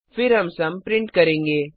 फिर हम sum print करेंगे